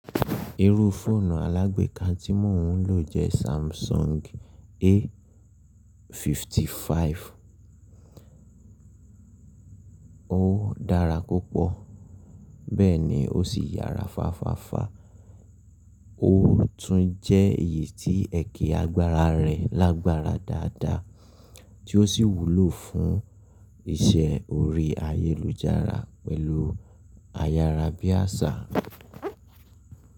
Irú fóònù alágbeeka tí mò ń lò jẹ́ Samsung A55. Ó dára púpọ̀ bẹ́ẹ̀ ni ó sì yára fáfàfà. Ó tún jẹ́ èyí tí ẹ̀ki agbára rẹ lágbára dáadáa tí ó sì wúlò fún iṣẹ́ orí ayélujára pẹ̀lú ayárabíàṣá.